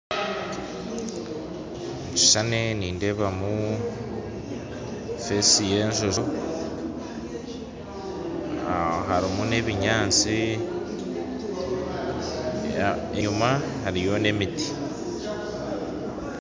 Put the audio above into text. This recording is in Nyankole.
Omukishushani nindeebamu aha maisho y'enjojo harimu nebinyatsi enyuma hariyo n'emiti